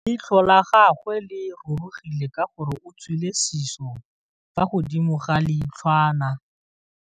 Leitlhô la gagwe le rurugile ka gore o tswile sisô fa godimo ga leitlhwana.